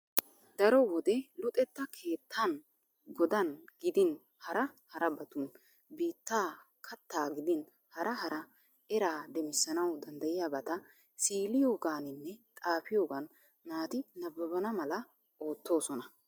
Daro wode Luxetta keettaan godan gidin hara harabatun biittaa kattaa gidin hara hara eraa demissanawu dandayiyaabata siiliyogaaninne xaapiyogan naati nabbabbana mala oottoosona.